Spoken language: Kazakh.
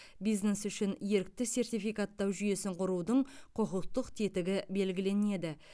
бизнес үшін ерікті сертификаттау жүйесін құрудың құқықтық тетігі белгіленеді